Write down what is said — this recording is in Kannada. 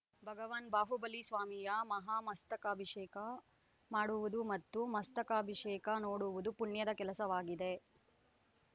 ಭಗವಾನ್ ಬಾಹುಬಲಿ ಸ್ವಾಮಿಯ ಮಹಾಮಸ್ತಕಾಭಿಷೇಕ ಮಾಡುವುದು ಮತ್ತು ಮಸ್ತಕಾಭಿಷೇಕ ನೋಡುವುದು ಪುಣ್ಯದ ಕೆಲಸವಾಗಿದೆ